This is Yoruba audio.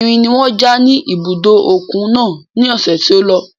Irin ni wọ́n ja ní ibùdó òkun náà ní ọ̀sẹ̀ tí ó lọ.